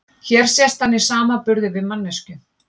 hér sést hann í samanburði við manneskju